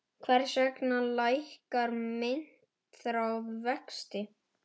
Hvers vegna lækkar myntráð vexti?